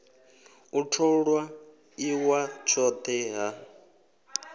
u tholwa iwa tshothe ha